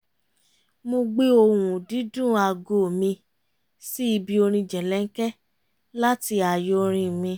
mo gbé ohùn-dídún aago mi sí ibi orin jẹ̀lẹ̀ńkẹ́ láti ààyo orin mi